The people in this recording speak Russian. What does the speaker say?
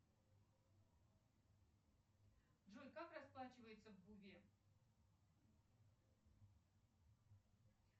джой как расплачиваются в тыве